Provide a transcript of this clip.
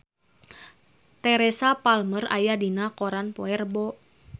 Teresa Palmer aya dina koran poe Rebo